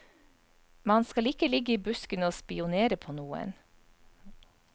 Man skal ikke ligge i buskene og spionere på noen.